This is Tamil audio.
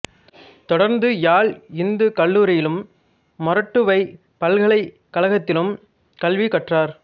தொடர்ந்து யாழ் இந்துக் கல்லூரியிலும் மொறட்டுவைப் பல்கலைக்கழகத்திலும் கல்வி கற்றார்